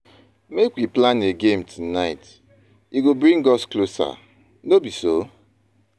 Make we plan a game night; e go bring us closer, no be so?